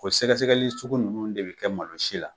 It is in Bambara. O sɛgɛsɛgɛli sugu ninnu de bɛ kɛ mansi la.